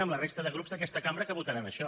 amb la resta de grups d’aquesta cambra que votaran això